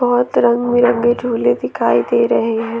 बहोत रंग बिरंगे झूले दिखाई दे रहे हैं।